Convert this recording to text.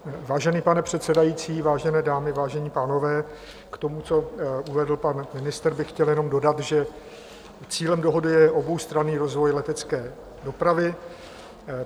Vážený pane předsedající, vážené dámy, vážení pánové, k tomu, co uvedl pan ministr, bych chtěl jen dodat, že cílem dohody je oboustranný rozvoj letecké dopravy.